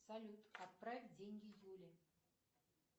салют отправь деньги юле